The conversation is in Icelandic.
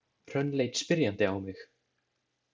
Hrönn leit spyrjandi á mig.